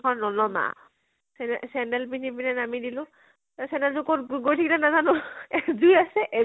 নানামা । চেন্দেল চেন্দেল পিন্ধি পিনে নামি দিলো । চেন্দেল যোৰ কʼত গৈ থাকলে নাজানো আৰু এযোৰ আছে এযো